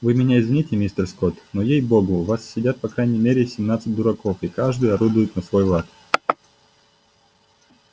вы меня извините мистер скотт но ей богу в вас сидят по крайней мере семнадцать дураков и каждый орудует на свой лад